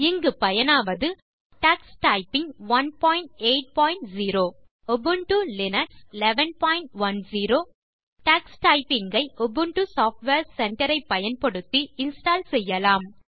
இங்கு பயனாவது Ubuntu Linux version 1110 மற்றும் டக்ஸ் டைப்பிங் 180 டக்ஸ் டைப்பிங் ஐ உபுண்டு சாஃப்ட்வேர் சென்டர் ஐ பயன்படுத்தி இன்ஸ்டால் செய்யலாம்